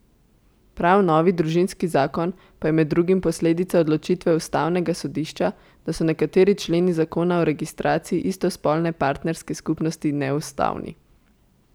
Prav novi družinski zakon pa je med drugim posledica odločitve ustavnega sodišča, da so nekateri členi zakona o registraciji istospolne partnerske skupnosti neustavni.